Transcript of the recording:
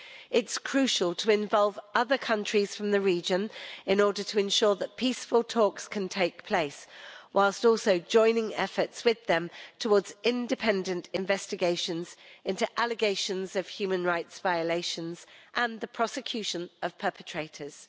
It's crucial to involve other countries from the region in order to ensure that peaceful talks can take place, whilst also joining efforts with them towards independent investigations into allegations of human rights violations and the prosecution of perpetrators.